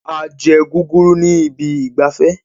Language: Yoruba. A jẹ guguru ní ibi ìgbafẹ́